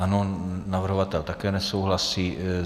Ano, navrhovatel také nesouhlasí.